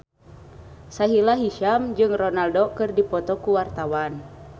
Sahila Hisyam jeung Ronaldo keur dipoto ku wartawan